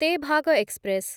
Tebhaga express